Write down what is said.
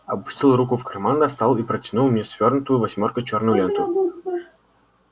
опустил руку в карман достал и протянул мне свёрнутую восьмёркой чёрную ленту